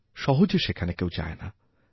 সহজে সেখানে কেউযায় না